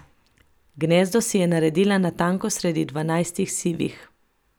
Gnezdo si je naredila natanko sredi Dvanajstih sivih.